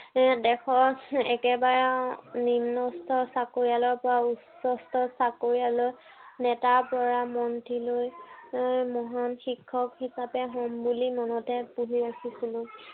যেনে দেশৰ একেবাৰে নিম্নস্তৰ চাকৰিয়ালৰ পৰা উচ্চস্তৰৰ চাকৰিয়ালৰ নেতাৰ পৰা মন্ত্ৰীলৈ এৰ মহান শিক্ষক হিচাপে হম বুলি মনতে পুহি ৰাখিছিলো।